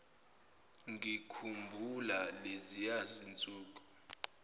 ngikhumbula leziya zinsuku